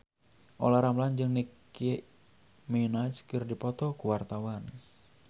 Olla Ramlan jeung Nicky Minaj keur dipoto ku wartawan